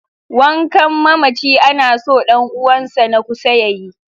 Wankan mamaci ana so ɗan uwansa na kusa ya yi.